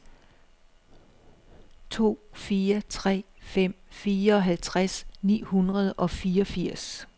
to fire tre fem fireoghalvtreds ni hundrede og fireogfirs